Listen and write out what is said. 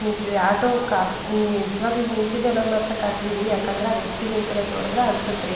ನಿಂತಿದೆ auto car ನಿಜ್ವಾಗ್ಲೂ ನಿಂತಿದೆ ಅಂದ್ ಮಾತ್ರ ಖಾತ್ರಿ ರೀ ಆ ವ್ಯಕ್ತಿ ನಿಂತಿರೋದ್ ನೋಡಿದ್ರೆ ಅನ್ಸುತ್ತೆ ರೀ.